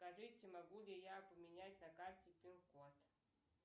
скажите могу ли я поменять на карте пин код